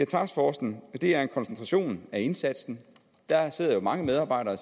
taskforcen er en koncentration af indsatsen der er mange medarbejdere